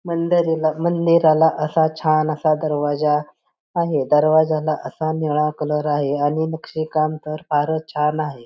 मंदीरेल मंदीराला असा छान असा दरवाजा आहे दरवाजा असा निळा कलर आहे आणि नक्षी काम तर फारच छान आहे.